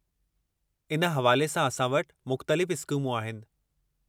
इन हवाले सां असां वटि मुख़्तलिफ़ इस्कीमूं आहिनि।